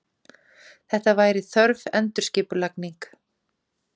Þetta væri þörf endurskipulagning.